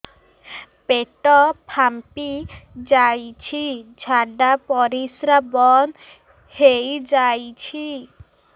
ପେଟ ଫାମ୍ପି ଯାଇଛି ଝାଡ଼ା ପରିସ୍ରା ବନ୍ଦ ହେଇଯାଇଛି